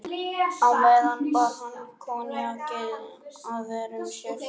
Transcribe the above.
Á meðan bar hann koníakið að vörum sér.